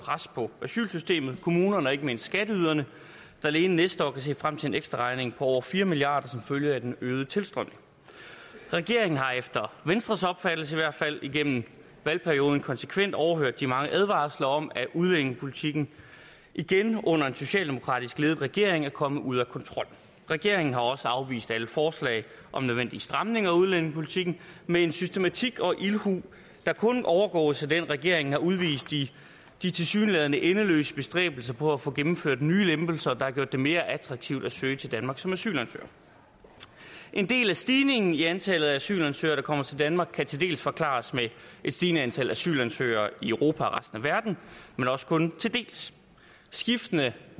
pres på asylsystemet kommunerne og ikke mindst skatteyderne der alene næste år kan se frem til en ekstra regning på over fire milliard kroner som følge af den øgede tilstrømning regeringen har efter venstres opfattelse i hvert fald igennem valgperioden konsekvent overhørt de mange advarsler om at udlændingepolitikken igen under en socialdemokratisk ledet regering er kommet ud af kontrol regeringen har også afvist alle forslag om nødvendige stramninger af udlændingepolitikken med en systematik og ildhu der kun overgås af den regeringen har udvist i de tilsyneladende endeløse bestræbelser på at få gennemført nye lempelser der har gjort det mere attraktivt at søge til danmark som asylansøger en del af stigningen i antallet af asylansøgere der kommer til danmark kan til dels forklares med et stigende antal asylansøgere i europa resten af verden men også kun til dels skiftende